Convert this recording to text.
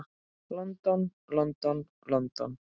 London, London, London.